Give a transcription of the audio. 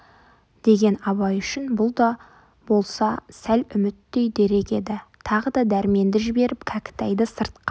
деген абай үшін бұл да болса сәл үміттей дерек еді тағы да дәрменді жіберіп кәкітайды сыртқа